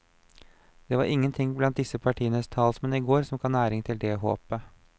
Det var ingenting blant disse partienes talsmenn i går som ga næring til det håpet.